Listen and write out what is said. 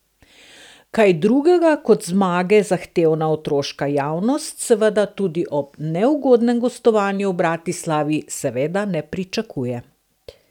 Kaj drugega kot zmage zahtevna otoška javnost seveda tudi ob neugodnem gostovanju v Bratislavi seveda ne pričakuje.